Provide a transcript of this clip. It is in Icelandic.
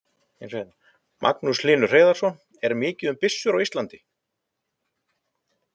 Magnús Hlynur Hreiðarsson: Er mikið um byssur á Íslandi?